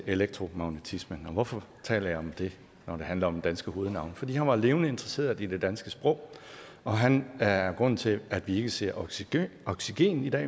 elektromagnetismen og hvorfor taler jeg om det når det handler om danske hovednavne fordi han var levende interesseret i det danske sprog og han er grunden til at vi ikke siger oxygen oxygen i dag